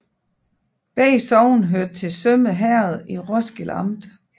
Begge sogne hørte til Sømme Herred i Roskilde Amt